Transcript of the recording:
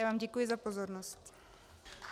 Já vám děkuji za pozornost.